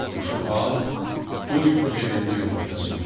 Quşu al, qoy öz evində yumurtlasın.